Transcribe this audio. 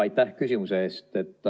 Aitäh küsimuse eest!